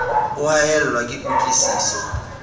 o haellwa ke kutlwi siso